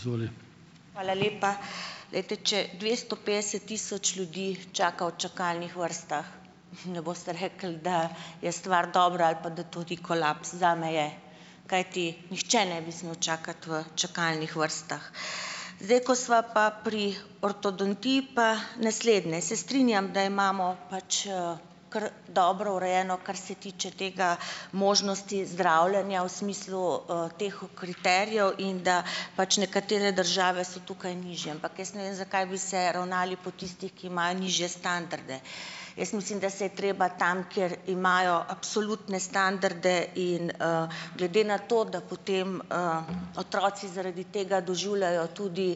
Hvala lepa. Glejte, če dvesto petdeset tisoč ljudi čaka v čakalnih vrstah ne boste rekli, da je stvar dobra ali pa da to ni kolaps, zame je, kajti nihče ne bi smel čakati v čakalnih vrstah. Zdaj, ko sva pa pri ortodontih pa naslednje. Se strinjam, da imamo pač, kar dobro urejeno, kar se tiče tega, možnosti zdravljenja v smislu, teh kriterijev in da pač nekatere države so tukaj nižje, ampak jaz ne vem, zakaj bi se ravnali po tistih, ki imajo nižje standarde. Jaz mislim, da se je treba tam, kjer imajo absolutne standarde in, glede na to, da potem, otroci zaradi tega doživljajo tudi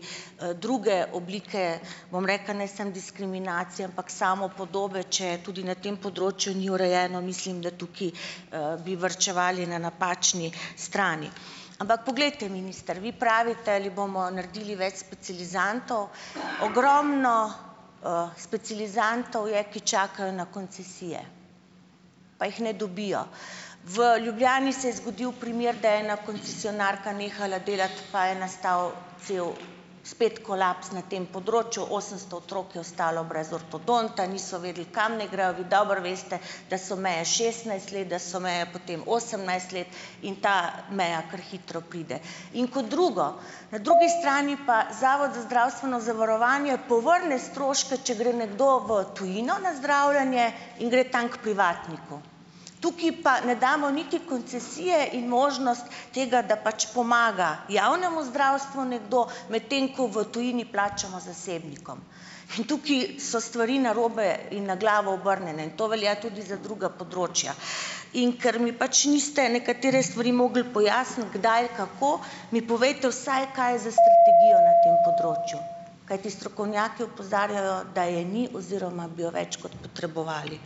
druge oblike, bom rekla, ne samo diskriminacije, ampak samopodobe, če tudi na tem področju ni urejeno, mislim, da tukaj, bi varčevali na napačni strani. Ampak poglejte, minister, vi pravite, ali bomo naredili več specializantov. Ogromno, specializantov je, ki čakajo na koncesije, pa jih ne dobijo. V Ljubljani se je zgodilo primer, da je ena koncesionarka nehala delati, pa je nastal cel spet kolaps na tem področju - osemsto otrok je ostalo brez ortodonta, niso vedeli, kam naj grejo, vi dobro veste, da so meje šestnajst let, da so meje potem osemnajst let in ta meja kar hitro pride. In kot drugo, na drugi strani pa Zavod za zdravstveno zavarovanje povrne stroške, če gre nekdo v tujino na zdravljenje in gre tam k privatniku. Tukaj pa ne damo niti koncesije in možnost tega, da pač pomaga javnemu zdravstvu nekdo, medtem ko v tujini plačamo zasebnikom. In tukaj so stvari narobe in na glavo obrnjene in to velja tudi za druga področja. In ker mi pač niste nekatere stvari mogli pojasniti kdaj, kako, mi povejte vsaj, kaj je s strategijo na tem področju. Kajti strokovnjaki opozarjajo, da je ni oziroma bi jo več kot potrebovali.